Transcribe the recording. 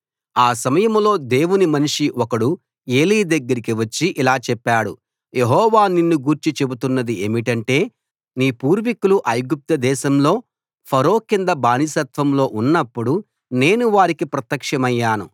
ఆ సమయంలో దేవుని మనిషి ఒకడు ఏలీ దగ్గరకి వచ్చి ఇలా చెప్పాడు యెహోవా నిన్ను గూర్చి చెబుతున్నది ఏమిటంటే నీ పూర్వికులు ఐగుప్తు దేశంలో ఫరో కింద బానిసత్వంలో ఉన్నప్పుడు నేను వారికి ప్రత్యక్షమయ్యాను